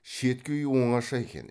шеткі үй оңаша екен